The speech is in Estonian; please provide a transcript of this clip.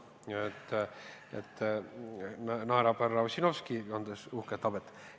Näen, et Härra Ossinovski, kes kannab uhket habet, naerab.